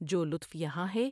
جولطف یہاں ہے